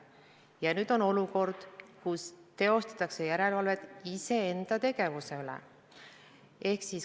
Ja nüüd on olukord, kus teostatakse järelevalvet iseenda tegevuse üle.